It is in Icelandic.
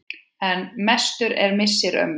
En mestur er missir ömmu.